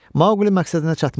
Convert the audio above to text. Maquli məqsədinə çatmışdı.